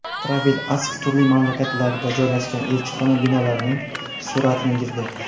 Travel Ask turli mamlakatlarda joylashgan elchixona binolarining suratini yig‘di.